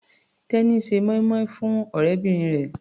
Temi ń ṣe moin-moin fún ọ̀rẹ́bìnrin rẹ̀.